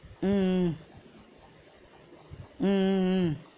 உம் உம் உம் உம் உம்